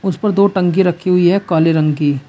इस पर दो टंकी रखी हुई है काले रंग की --